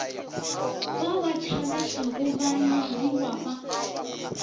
ba ba tšhabetšego banyadiwa ba